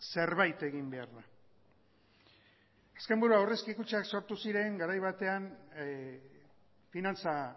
zerbait egin behar da azken buru aurrezki kutxak sortu ziren garai batean finantza